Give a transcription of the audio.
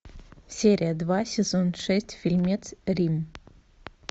серия два сезон шесть фильмец рим